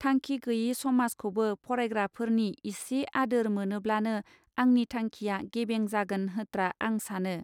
थांखि गैयै समाज खौबो फरायग्राफोरनि इसे आदोर मोनोब्लानो आंनि थांखिआ गेबें जागोन होत्रा आं सानो.